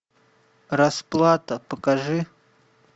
расплата покажи